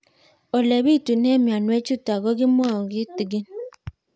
Ole pitune mionwek chutok ko kimwau kitig'ín